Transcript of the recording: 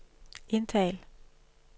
indtal